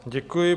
Děkuji.